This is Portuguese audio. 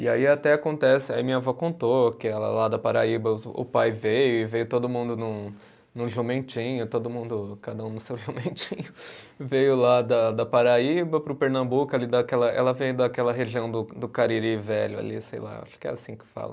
E aí até acontece, aí minha vó contou que ela lá da Paraíba, o pai veio e veio todo mundo num num jumentinho, todo mundo, cada um no seu jumentinho, veio lá da da Paraíba para o Pernambuco ali daquela, ela veio daquela região do do Cariri velho ali, sei lá, acho que é assim que fala.